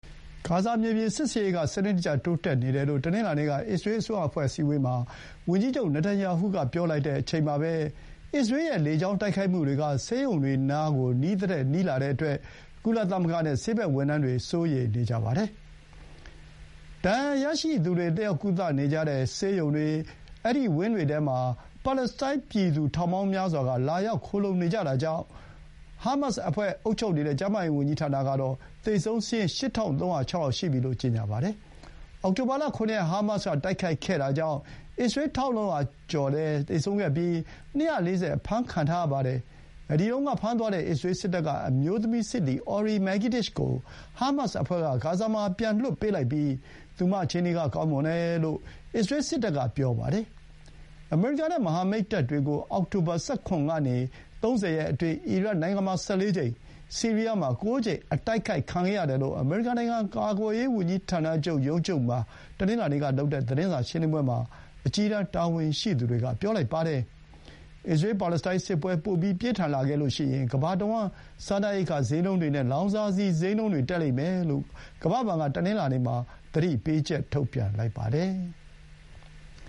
ဂါဇာမြေပြင်စစ်ဆင်ရေးက စနစ်တကျတိုးတက်နေတယ်လို့ တနင်္လာနေ့က အစ္စရေးအစိုးရအဖွဲ့ အစည်းအဝေးမှာ ဝန်ကြီးချုပ် နာတန်ရာဟုက ပြောလိုက်ချိန်မှာပဲ အစ္စရေးရဲ့လေကြောင်းတိုက်ခိုက်မှုတွေက ဆေးရုံတွေနားကို နီးသထက်နီးလာတဲ့အတွက် ကုလသမဂ္ဂနဲ့ ဆေးဘက်ဝန်ထမ်းတွေ စိုးရိမ်နေကြပါတယ်။ ဒဏ်ရာရရှိသူတွေ တက်ရောက်ကုသနေကြတဲ့ ဆေးရုံဝင်းတွေထဲမှာ ပါလက်စတိုင်းပြည်သူ ထောင်ပေါင်းများစွာက လာရောက် ခိုလှုံနေကြတာကြောင့်ပါ။ ဟားမတ်စ်အဖွဲ့ ကအုပ်ချုပ်နေတဲ့ ကျန်းမာရေးဝန်ကြီးဌာနက သေဆုံးစာရင်း ၈,၃၀၆ ယောက် ရှိပြီလို့ ကြေညာပါတယ်။ အောက်တိုဘာ ၇ ရက် ဟားမတ်စ်က တိုက်ခိုက်ခဲ့တာကြောင့် အစ္စရေး ၁,၄၀၀ ကျော်လည်းသေဆုံးခဲ့ပြီး ၂၄၀ အဖမ်းခံထားရပါတယ်။ အဲဒီတုန်းက ဖမ်းသွားတဲ့ အစ္စရေးစစ်တပ်က အမျိုးသမီးစစ်သည် Ori Megidish ပြန်လွတ်လာတဲ့နောက် သူမ အခြေအနေက ကောင်းမွန်တယ်လို့ အစ္စရေးစစ်တပ်က ပြောပါတယ်။ အစ္စရေးရဲ့ဂါဇာကို မြေပြင်စစ်ဆင်ရေးအတွင်းမှာပဲ သူမပြန်လွတ်လာတာဖြစ်ပါတယ်။ အမေရိကန်နဲ့ မဟာမိတ်တပ်တွေကို အောက်တိုဘာ ၁၇ ကနေ ၃၀ အတွင်း အီရတ်နိုင်ငံမှာ ၁၄ ကြိမ်၊ ဆီးရီးယားမှာ ၉ ကြိမ် အတိုက်ခံခဲ့ရတယ်လို့ အမေရိကန်နိုင်ငံ ကာကွယ်ရေးဝန်ကြီးဌာန ရုံးချုပ်မှာ တနင်္လာနေ့ကလုပ်တဲ့ သတင်းစာရှင်းလင်းပွဲမှာ အကြီးတန်း တာဝန်ရှိသူတွေက ပြောပါတယ်။ အစ္စရေး ပါလက်စတိုင်းစစ်ပွဲ ပိုပြီး ပြင်းထန်လာခဲ့ရင် ကမ္ဘာတဝှမ်း စားနပ်ရိက္ခာစျေးနှုန်းတွေနဲ့ လောင်စာဆီ စျေးနှုန်းတက်လိမ့်မယ်လို့ ကမ္ဘာ့ဘဏ်က တနင်္လာနေ့မှာ သတိပေးချက် ထုတ်ပြန်လိုက်ပါတယ်။